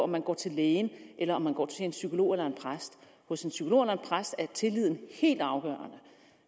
man går til en læge eller om man går til en psykolog eller en præst hos en psykolog eller en præst er tilliden helt afgørende